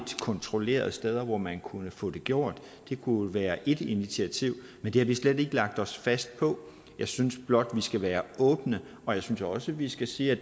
kontrollerede steder hvor man kunne få det gjort det kunne være et initiativ men det har vi slet ikke lagt os fast på jeg synes blot vi skal være åbne og jeg synes også vi skal sige at